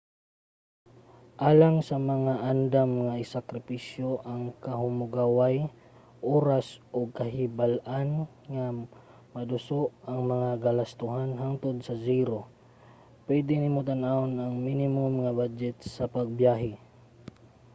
alang sa mga andam nga isakripisyo ang kahamugaway oras ug kahibal-an nga maduso ang mga galastohan hangtod sa zero pwede nimo tan-awon ang minimum nga badyet sa pagbiyahe